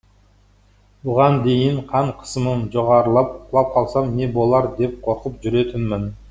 бұған дейін қан қысымым жоғарылып құлап қалсам не болар деп қорқып жүретінмін